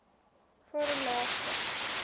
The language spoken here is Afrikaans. varelagte